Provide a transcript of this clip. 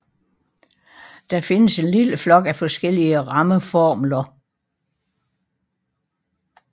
Der findes en lille flok af forskellige rammeformler